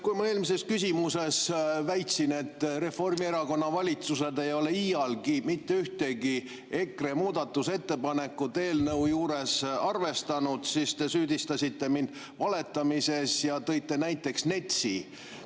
Kui ma eelmises küsimuses väitsin, et Reformierakonna valitsused ei ole iialgi mitte ühtegi EKRE muudatusettepanekut eelnõu juures arvestanud, siis te süüdistasite mind valetamises ja tõite näiteks NETS-i.